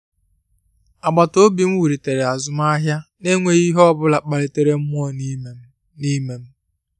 Àgbàtà ọ̀bì m wulitere azụmahịa n'enweghị ihe ọbụla kpaliri mmụọ n’ime m. n’ime m.